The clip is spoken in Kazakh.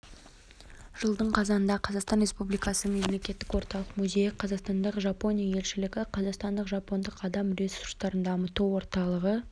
жылдың қазанында қазақстан республикасы мемлекеттік орталық музейі қазақстандағы жапония елшілігі қазақстандық жапондық адам ресурстарын дамыту орталығы